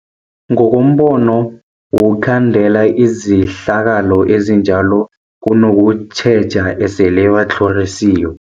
Ngokombono wokhandela izehlakalo ezinjalo kunokutjheja esele batlhorisiwe.